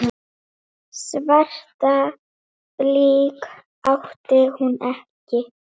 Hálfur er auður und hvötum.